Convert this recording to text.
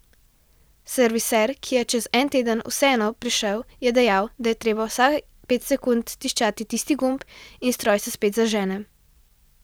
Serviser, ki je čez en teden vseeno prišel je dejal, da je treba vsaj pet sekund tiščati tisti gumb in stroj se spet zažene.